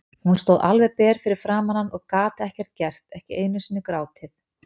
Hún stóð alveg ber fyrir framan hann og gat ekkert gert, ekki einu sinni grátið.